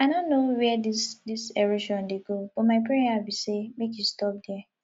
i no know where dis dis erosion dey go but my prayer be say make e stop there